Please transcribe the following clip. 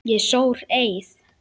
Ég sór eið.